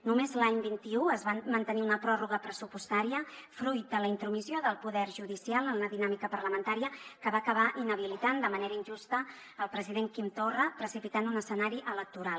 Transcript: només l’any vint un es va mantenir una pròrroga pressupostària fruit de la intromissió del poder judicial en la dinàmica parlamentària que va acabar inhabilitant de manera injusta el president quim torra precipitant un escenari electoral